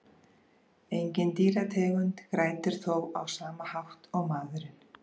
Engin dýrategund grætur þó á sama hátt og maðurinn.